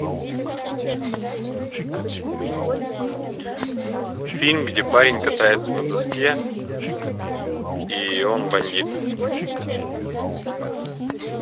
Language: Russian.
фильм где парень катается на доске и он бандит